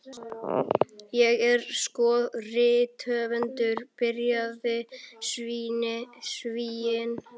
Ég er sko rithöfundur, byrjaði Svíinn.